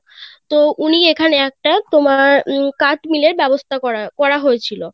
তো উনি এখানে একটা তোমার উম কাঠ মিলের ব্যবস্থা করার করা হয়েছিল